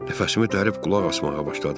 Nəfəsimi dərib qulaq asmağa başladım.